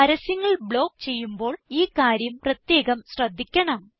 പരസ്യങ്ങൾ ബ്ലോക്ക് ചെയ്യുമ്പോൾ ഈ കാര്യം പ്രത്യേകം ശ്രദ്ധിക്കണം